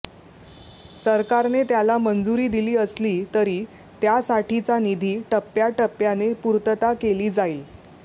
सरकारने त्याला मंजुरी दिली असलीतरी त्यासाठीचा निधी टप्याटप्याने पुर्तता केली जाईल